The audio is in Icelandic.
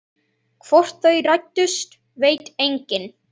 Hvort þau rættust veit enginn.